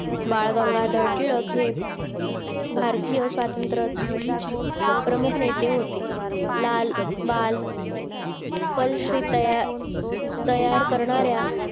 बाळ गंगाधर टिळक हे भारतीय स्वातंत्र चळवळीचे प्रमुख नेते होते लाल बाळ पाल श्री तयार करणाऱ्या